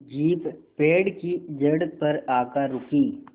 jeep पेड़ की जड़ पर आकर रुकी